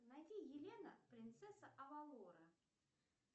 найди елена принцесса авалора